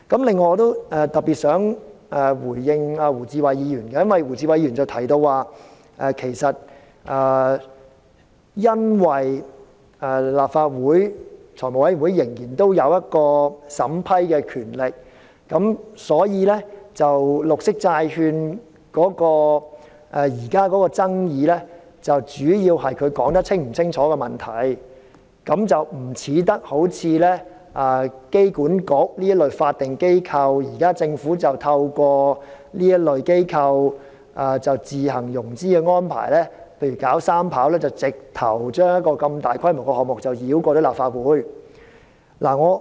另外，我想特別回應胡志偉議員，他提到由於財務委員會仍然有審批的權力，所以現時有關綠色債券的爭議主要是內容是否解釋清楚，不像香港機場管理局這類法定機構出現的問題，即現在政府透過這類機構自行融資來興建機場三跑，直接將這個大規模的項目繞過立法會。